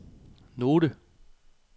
note